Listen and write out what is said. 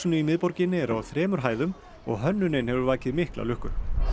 í miðborginni er á þremur hæðum og hönnunin hefur vakið mikla lukku